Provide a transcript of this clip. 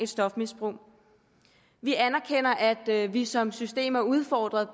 stofmisbrug vi anerkender at vi som system er udfordret